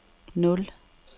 nul